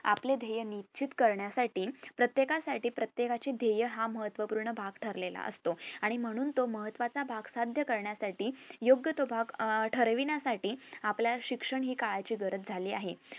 आपले ध्येय निश्चित करण्यासाठी प्रत्येकासाठी प्रत्येकाचे ध्येय हा महत्व पूर्ण भाग ठरलेला असतो आणि म्हणून तो महत्वाचा भाग साध्य करण्यासाठी योग्य तो भाग अह ठरविण्यासाठी आपल्याला शिक्षण हि काळाची गरज झालेली आहे